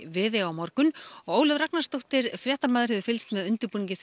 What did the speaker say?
Viðey á morgun og Ólöf Ragnarsdóttir hefur fylgst með undirbúningi